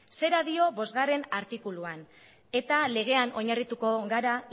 zera dio bostartikuluan eta legean oinarrituko gara